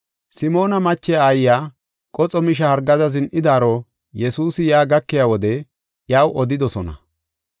Simoona mache aayiya qoxo misha hargada zin7idaaro Yesuusi yaa gakiya wode iyaw odidosona.